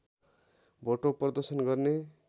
भोटो प्रदर्शन गर्ने